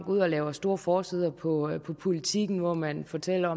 ud og laver store forsider på politiken hvor man fortæller